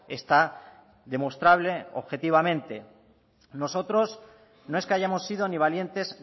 está demostrable objetivamente nosotros no es que hayamos sido ni valientes